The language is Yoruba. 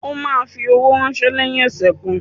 O ma fi owó ránsẹ́ lẹ́yìn ọ̀sẹ̀ kan